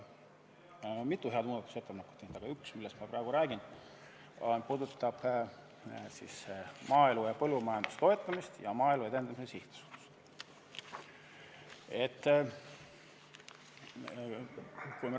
Õigemini me oleme teinud mitu head muudatusettepanekut, aga üks, millest ma praegu räägin, puudutab maaelu ja põllumajanduse toetamist ja Maaelu Edendamise Sihtasutust.